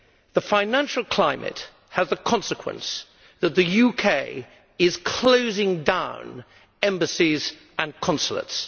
The financial climate has the consequence that the UK is closing down embassies and consulates.